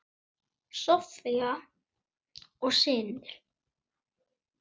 Soffía og synir.